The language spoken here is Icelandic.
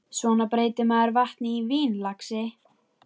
Svona breytir maður vatni í vín, lagsi.